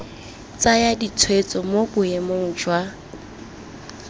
tsaya ditshwetso mo boemong jwa